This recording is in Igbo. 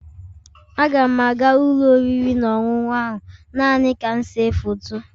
Aga m aga ụlọ oriri na ọṅụṅụ ahụ naanị ka m see foto